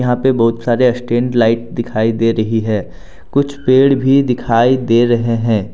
यहां पे बहुत सारे स्टैंड लाइट दिखाई दे रही है कुछ पेड़ भी दिखाई दे रहे हैं।